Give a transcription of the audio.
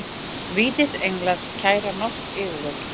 Vítisenglar kæra norsk yfirvöld